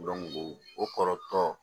o kɔrɔtɔ